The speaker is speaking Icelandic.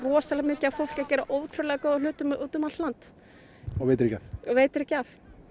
rosalega mikið af fólki að gera ótrúlega góðum hlutum út um allt land og veitir ekki af og veitir ekki af